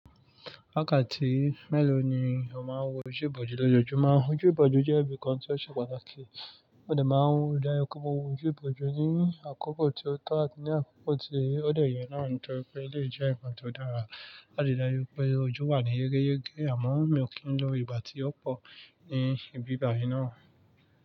Wákàtí mélòó ni a máa ń wo ojú ìbòjú lójoojúmọ́? Ojú ìbòjú jẹ́ ibi kan tí ó ṣe pàtàkì, ó dà máa ń dára kó máa wo ojú ìbòjú ní àkókò tí ó tọ́ àti ní àkókò tí ó dẹ yẹ náà, torí pé lè jẹ́ ǹkan tó dára. A lè dáa rú pé ojú wà ní yegeyege àmọ́ mi ò kí ń lọ ìgbà tí ó pọ̀ ní ibi bàyi náà.